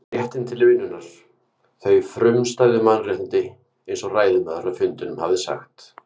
réttinn til vinnunnar, þau frumstæðu mannréttindi, einsog ræðumaðurinn á fundinum hafði sagt.